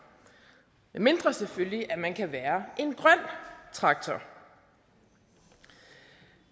medmindre selvfølgelig at man kan være en grøn traktor